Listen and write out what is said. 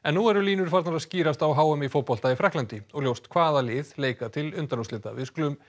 nú eru línur farnar að skýrast á h m í fótbolta í Frakklandi og ljóst hvaða lið leika til undanúrslita við skulum